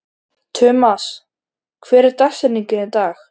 Tumas, hver er dagsetningin í dag?